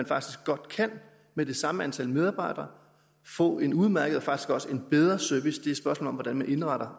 faktisk godt med det samme antal medarbejdere få en udmærket og faktisk også bedre service et spørgsmål om hvordan man indretter